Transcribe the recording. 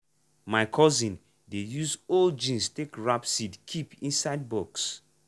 my cousin dey use old jeans take wrap seed keep inside box.